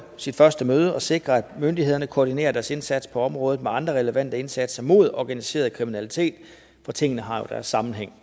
sit første møde og sikre at myndighederne koordinerer deres indsats på området med andre relevante indsatser mod organiseret kriminalitet for tingene har jo deres sammenhæng